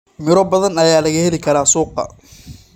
Miro badan ayaa laga heli karaa suuqa.